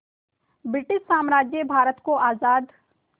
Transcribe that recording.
British साम्राज्य भारत को आज़ाद